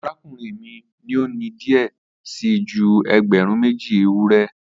Arakunrin mi ni o ni diẹ sii ju ẹgbẹrun meji ewurẹ